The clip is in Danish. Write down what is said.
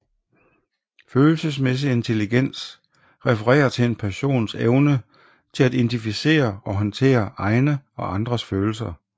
Følelsesmæssig intelligens refererer til en persons evne til at identificere og håndtere egne og andres følelser